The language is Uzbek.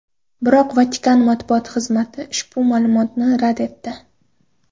Biroq Vatikan matbuot xizmati ushbu ma’lumotni rad etdi .